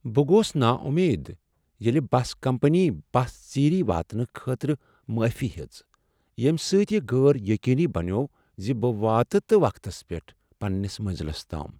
بہٕ گوس ناامید ییٚلہ بس کمپنی بس ژیرۍ واتنہٕ خٲطرٕ معافی ہیٔژ، ییٚمہ سۭتۍ یہ غیر یقینی بنیوٚو ز بہٕ واتا تہ وقتس پیٹھ پنٛنس منزلس تام ۔